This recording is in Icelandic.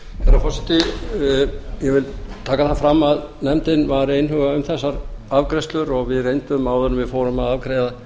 herra forseti ég vil taka það fram að nefndin var einhuga um þessar afgreiðslur og við reyndum áður en við fórum að afgreiða